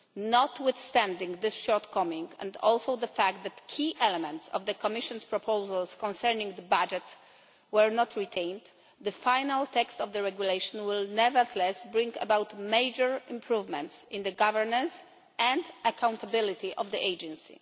Notwithstanding this shortcoming and also the fact that key elements of the Commission's proposals concerning the budget were not retained, the final text of the regulation will nevertheless bring about major improvements in the governance and accountability of the Agency.